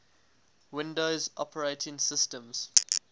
windows operating systems